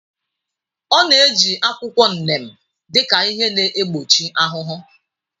Ọ na-eji akwụkwọ neem dị ka ihe na-egbochi ahụhụ.